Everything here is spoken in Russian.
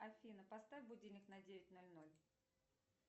афина поставь будильник на девять ноль ноль